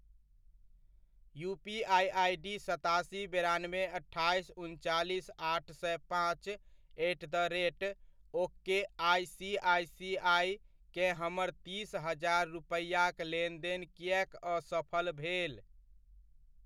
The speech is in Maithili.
यूपीआइ आइडी सतासी, बेरानबे, अट्ठाइस, उनचालीसआठ सए पाँच एट द रेट ओकेआइसीआइसीआइ केँ हमर तीस हजार रूपैआक लेनदेन किएक असफल भेल?